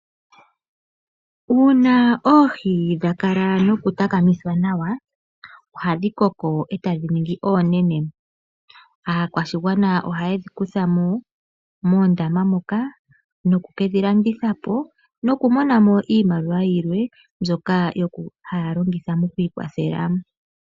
Uuna oohi dha kala nokutakamithwa nawa ohadhi koko e tadhi ningi oonene. Aakwashigwana oha yedhi kutha mo moondama moka noku ke dhi landitha po nokumona mo iimaliwa yimwe mbyoka haya longitha okwiikwathela.